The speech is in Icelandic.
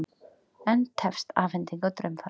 Enn tefst afhending á draumfara